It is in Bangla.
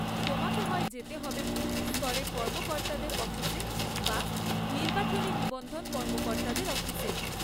তোমাকে হয় যেতে হবে বুথ স্তরের কর্মকর্তাদের অফিসে বা নির্বাচনী নিবন্ধন কর্মকর্তাদের অফিসে।